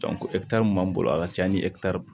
mun b'an bolo a ka ca ni